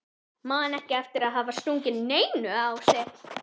Man ekki eftir að hafa stungið neinu á sig.